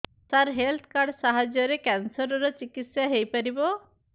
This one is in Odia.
ସାର ହେଲ୍ଥ କାର୍ଡ ସାହାଯ୍ୟରେ କ୍ୟାନ୍ସର ର ଚିକିତ୍ସା ହେଇପାରିବ